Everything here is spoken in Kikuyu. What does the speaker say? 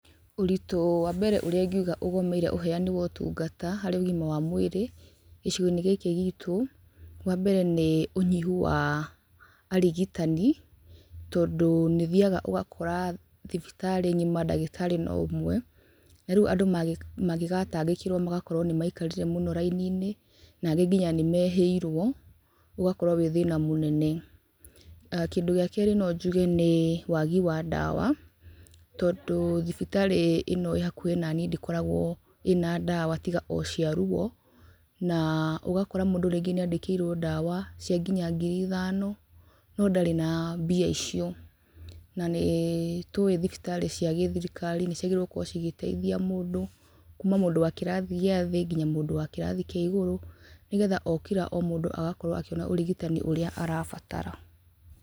Ũritũ wa mbere ũrĩa ingiuga ũgũmĩire ũheani wa ũtungata harĩ ũgima wa mwĩrĩ gĩcigo-inĩ gĩkĩ gitũ, wa mbere nĩ ũnyihu wa arigitani. Tondũ nĩ ũthiaga ũgakora thibitarĩ ng'ima ndagĩtari no ũmwe, na rĩu andũ mangĩgatangĩkĩrwo magakorwo nĩ maikarire mũno raini-inĩ, na angĩ nginya nĩ mehĩirwo. Ũgakorwo wi thĩna mũnene. Kĩndũ gĩa keerĩ no njuge nĩ wagi wa ndawa, tondũ thibitarĩ ĩno ĩhakuhĩ nani ndĩkoragwo ĩna ndawa tiga o cia ruo, na ũgakora mũndũ rĩngĩ nĩ andĩkĩirwo ndawa cia nginya ngiri ithano na mbia icio, na nĩ tũĩ thibitarĩ cia gĩthirikari nĩ ciagĩrĩirwo gũkorwo cigĩteithia mũndũ kuma mũndũ wa kĩrathi gĩa thĩ nginya mũndũ wa kĩrathi kĩa igũrũ, nĩ getha o kira o mũndũ agakorwo akĩona ũrigitani ũrĩa arabatara.